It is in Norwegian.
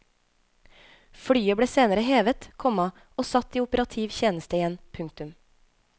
Flyet ble senere hevet, komma og satt i operativ tjeneste igjen. punktum